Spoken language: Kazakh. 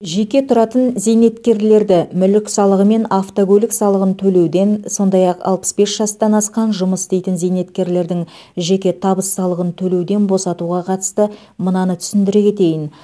жеке тұратын зейнеткерлерді мүлік салығы мен автокөлік салығын төлеуден сондай ақ алпыс бес жастан асқан жұмыс істейтін зейнеткерлердің жеке табыс салығын төлеуден босатуға қатысты мынаны түсіндіре кетейін